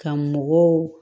Ka mɔgɔw